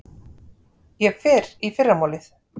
Ég fer í fyrramálið.